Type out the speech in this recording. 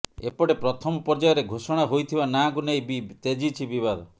ଏପଟେ ପ୍ରଥମ ପର୍ଯ୍ୟାୟରେ ଘୋଷଣା ହୋଇଥିବା ନାଁକୁ ନେଇ ବି ତେଜୁଛି ବିବାଦ